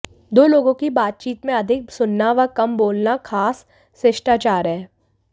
दो लोगों की बातचीत में अधिक सुनना व कम बोलना खास शिष्टाचार है